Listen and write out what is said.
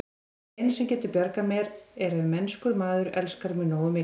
Það eina, sem getur bjargað mér, er ef mennskur maður elskar mig nógu mikið.